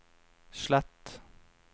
slett